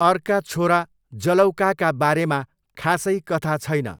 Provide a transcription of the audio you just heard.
अर्का छोरा जलौकाका बारेमा खासै कथा छैन।